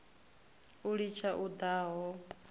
u litsha u daha a